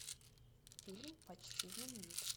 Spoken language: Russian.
фильм почти знаменит